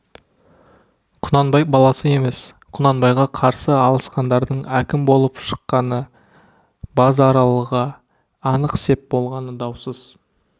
құнанбай баласы емес құнанбайға қарсы алысқандардың әкім болып шыққаны базаралыға анық сеп болғаны даусыз